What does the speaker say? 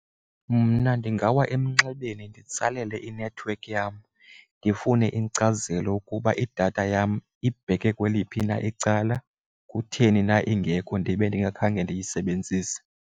Mna ndingawa emnxebeni nditsalele inethiwekhi yam ndifune inkcazelo ukuba idatha yam ibheke kweliphi na icala, kutheni na ingekho ndibe ndingakhange ndiyisebenzise.